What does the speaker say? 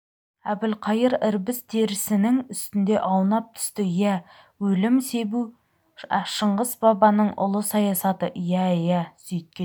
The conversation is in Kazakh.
әбілқайыр ірбіз терісінің үстінде аунап түсті иә өлім себу шыңғыс бабаның ұлы саясаты иә иә сөйткен